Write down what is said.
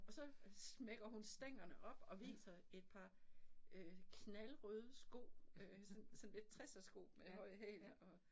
Og så smækker hun stængerne op og viser et par øh knaldrøde sko øh sådan sådan lidt tressersko med høje hæle og